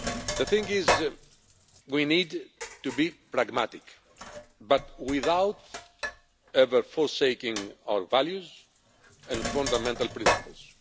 The thing is, we need to be pragmatic but without ever forsaking our values and fundamental principles.